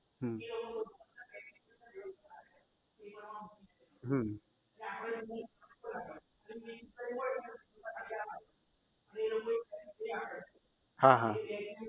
હમ હમ હા હા